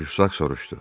Jussak soruşdu.